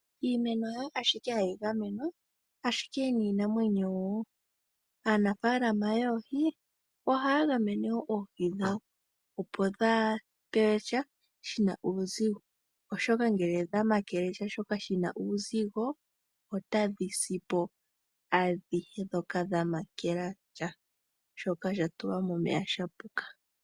Iimeno hayo ashike hayi gamenwa, ashike niinamwenyo wo. Aanafalama yoohi ohaya gamene wo oohi dhawo opo dhaa pewe sha shina uuzigo, oshoka ngele dha makele sha shoka shina uuzigo otadhi si po, adhihe dhoka dhamakela sha shoka sha tulwa momeya sha puka.